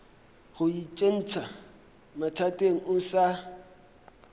go itsentšha mathateng o sa